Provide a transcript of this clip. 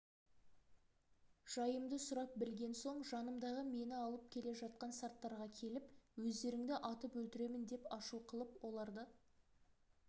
жайымды сұрап білген соң жанымдағы мені алып келе жатқан сарттарға келіп өздеріңді атып өлтіремін деп ашу қылып оларды